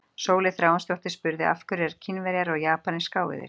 Sóley Þráinsdóttir spurði: Af hverju eru Kínverjar og Japanir skáeygðir?